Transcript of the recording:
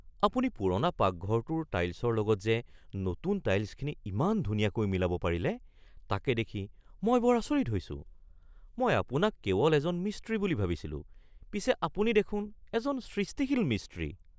আপুনি পুৰণা পাকঘৰটোৰ টাইলছৰ লগত যে নতুন টাইলছখিনি ইমান ধুনীয়াকৈ মিলাব পাৰিলে তাকে দেখি মই বৰ আচৰিত হৈছোঁ। মই আপোনাক কেৱল এজন মিস্ত্ৰী বুলি ভাবিছিলো পিছে আপুনি দেখোন এজন সৃষ্টিশীল মিস্ত্ৰী।